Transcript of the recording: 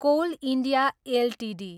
coal India Ltd